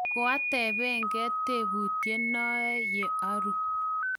koateben gei tebutit noe ye arue